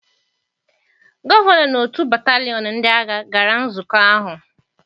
Gọvanọ na otu batalion ndị agha gara nzukọ ahụ.